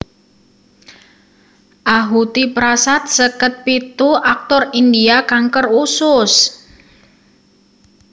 Ahuti Prasad seket pitu aktor India kanker usus